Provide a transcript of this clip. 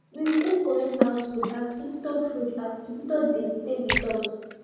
we cook correct house food as visitor food as visitor dey stay with us